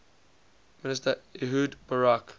minister ehud barak